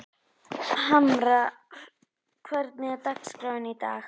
Hamar, hvernig er dagskráin í dag?